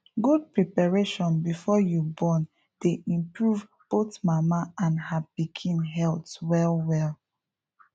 good preparation before you born dey improve both mama and her pikin health well well